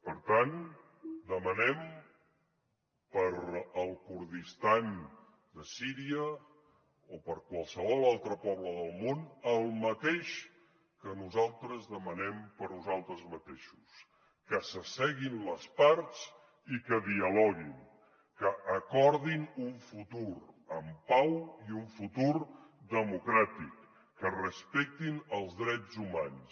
per tant demanem per al kurdistan de síria o per a qualsevol altre poble del món el mateix que nosaltres demanem per a nosaltres mateixos que s’asseguin les parts i que dialoguin que acordin un futur en pau i un futur democràtic que respectin els drets humans